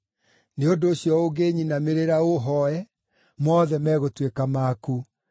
Nĩ ũndũ ũcio ũngĩnyinamĩrĩra ũhooe, mothe megũtuĩka maku.”